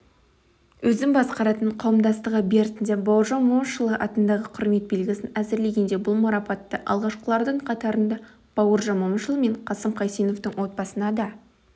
өзім басқаратын қауымдастығы бертінде бауыржан момышұлы атындағы құрмет белгісін әзірлегенде бұл марапатты алғашқылардың қатарында бауыржан момышұлы мен қасым қайсеновтің отбасына да